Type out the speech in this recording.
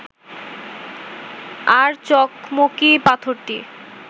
আর চকমকি পাথরটি